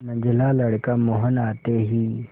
मंझला लड़का मोहन आते ही